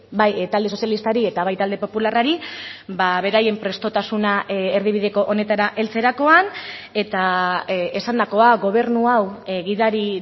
bai talde sozialistari eta bai talde popularrari beraien prestutasuna erdibideko honetara heltzerakoan eta esandakoa gobernua hau gidari